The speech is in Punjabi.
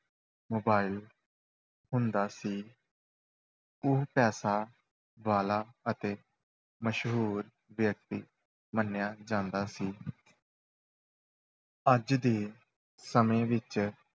Mobile ਹੁੰਦਾ ਸੀ ਉਹ ਪੈਸਾ ਵਾਲਾ ਅਤੇ ਮਸ਼ਹੂਰ ਵਿਅਕਤੀ ਮੰਨਿਆ ਜਾਂਦਾ ਸੀ ਅੱਜ ਦੇ ਸਮੇਂ ਵਿੱਚ,